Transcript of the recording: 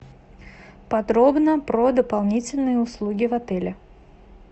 подробно про дополнительные услуги в отеле